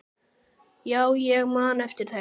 Já, ég man eftir þeim.